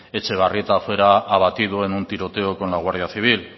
etxebarrieta fuera abatido en un tiroteo con la guardia civil